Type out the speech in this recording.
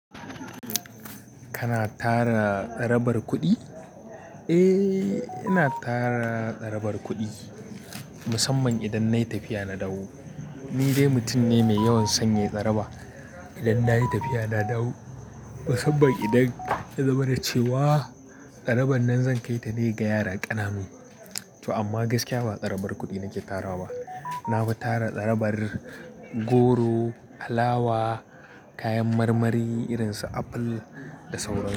Kana tara tsarabar kuɗi? Eh, ina tara tsarabar kuɗi musamman idan nayi tafiya na dawo. Ni dai mutum ne mai yawan son yai tsara. Idan na yi tafiya na dawo musamman idan ya zama na ce wa tsaraban nan zan kai ta ne ga yara ƙananu. To amma gaskiya ba tsarabar kuɗi nake tarawa ba. Nafi tara tsarabar goro, alawa, kayan marmari irin su aful da sauransu.